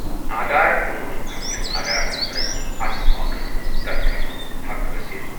آدھار قونوٗنَن تحت چھُ آدھار نمبرَن اتھ معاملَس منٛز رد کرنُک حق حٲصِل۔